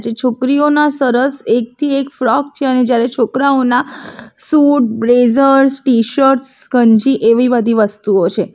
છોકરીઓના સરસ એક થી એક ફ્રોક છે અને જ્યારે છોકરાઓના શૂટ બ્લેઝર્સ ટીશર્ટસ ગંજી એવી બધી વસ્તુઓ છે.